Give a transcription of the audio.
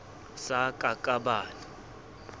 sa ka ka ba le